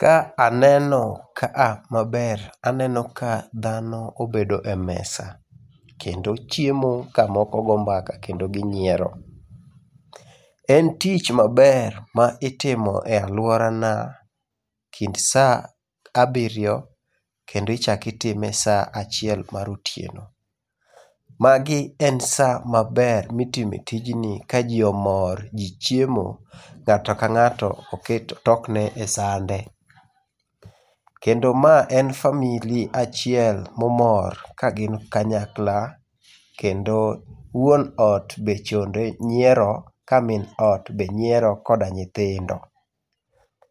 Ka aneno ka a maber aneno ka dhano obedo e mesa. Kendo chiemo kamoko go mbaka kendo ginyiero. En tich maber ma itimo e aluorana kind saa abiriyo kendo ichako itime saa achiel mar otieno. Magi en saa maber mitime tijni kaji omor, ji chiemo. Ng'ato ka ng'ato oket otokne esande. Kendo ma en famili achiel momor, kagin kanyakla kendo wuon ot be chonde nyiero, ka min ot bende nyiero, koda nyithindo.